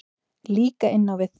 Líka inn á við.